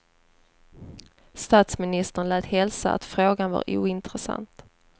Statsministern lät hälsa att frågan var ointressant.